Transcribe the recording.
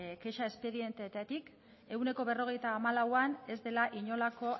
kexa espedienteetatik ehuneko berrogeita hamalauan ez dela inolako